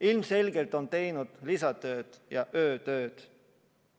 Ilmselgelt on nad teinud lisatööd ja öötööd.